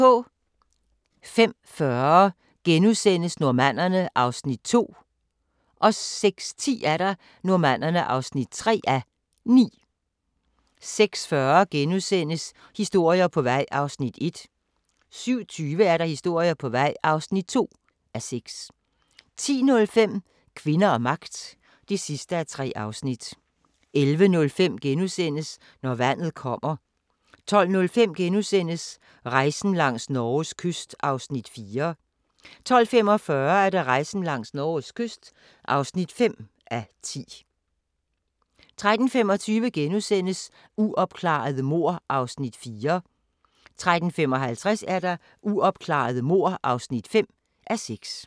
05:40: Normannerne (2:9)* 06:10: Normannerne (3:9) 06:40: Historier på vej (1:6)* 07:20: Historier på vej (2:6) 10:05: Kvinder og magt (3:3) 11:05: Når vandet kommer * 12:05: Rejsen langs Norges kyst (4:10)* 12:45: Rejsen langs Norges kyst (5:10) 13:25: Uopklarede mord (4:6)* 13:55: Uopklarede mord (5:6)